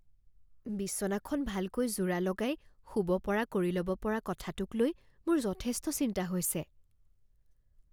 বিছনাখন ভালকৈ যোৰা লগাই শুব পৰা কৰি লব পৰা কথাটোকলৈ মোৰ যথেষ্ট চিন্তা হৈছে।